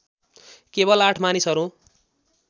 केवल ८ मानिसहरू